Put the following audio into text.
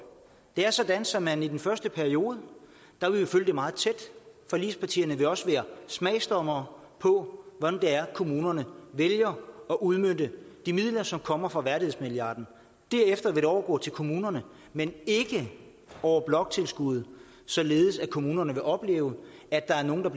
det er sådan så man i den første periode vil følge det meget tæt forligspartierne vil også være smagsdommere og på hvordan kommunerne vælger at udmønte de midler som kommer fra værdighedsmilliarden derefter vil det overgå til kommunerne men ikke over bloktilskuddet således at kommunerne vil opleve at der er nogle der